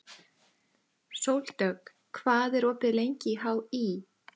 Sóldögg, hvað er opið lengi í HÍ?